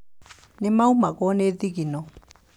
Nĩ maumagwo nĩ thigino.